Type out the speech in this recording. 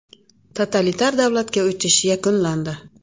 Totalitar davlatga o‘tish yakunlandi.